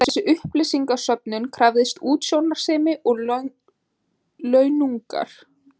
Þessi upplýsingasöfnun krafðist útsjónarsemi og launungar.